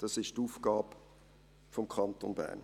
das ist die Aufgabe des Kantons Bern.